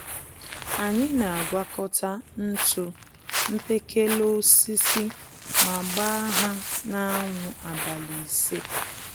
Anyị n'àgwàkọta ntụ mkpekele-osisi ma gbáá ha na anwụ abalị ise